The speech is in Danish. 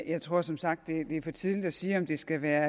jeg tror som sagt at det er for tidligt at sige om det skal være